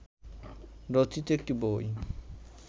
রচিত একটি বই